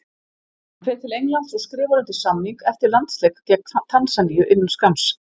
Hann fer til Englands og skrifar undir samning eftir landsleik gegn Tansaníu innan skamms.